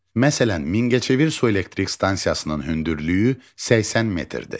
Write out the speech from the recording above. Məsələn, Mingəçevir su elektrik stansiyasının hündürlüyü 80 metrdir.